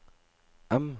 M